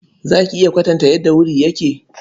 Za ki iya kwatanta yadda wuri yake?